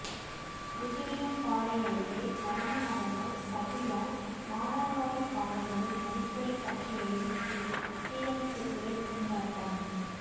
குஜிலியம்பாறை அருகே மர்மநபர்கள் சதியால் மானாவாரி காடுகளில் அடிக்கடி பற்றி எரியும் தீ தீயணைப்புத்துறை திண்டாட்டம்